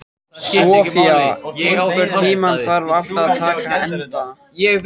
Sofía, einhvern tímann þarf allt að taka enda.